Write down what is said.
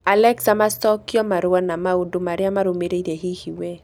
Alexa macokio marũa na maũndũ marĩa marũmĩrĩire hihi wee